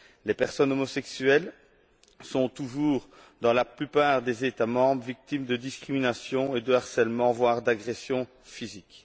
Les personnes homosexuelles sont toujours, dans la plupart des États membres, victimes de discrimination et de harcèlement, voire d'agressions physiques.